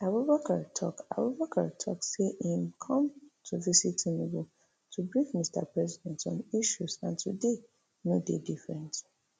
abubakar tok abubakar tok say im come to visit tinubu to brief mr president on issues and today no dey different